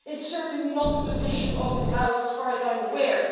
It is certainly not the position of this House, as far as I am aware.